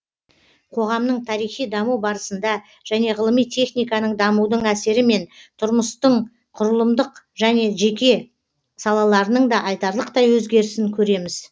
қоғамның тарихи даму барысында және ғылыми техниканың дамудың әсерімен тұрмыстың құрылымдық және жеке салаларының да айтарлықтай өзгерісін көреміз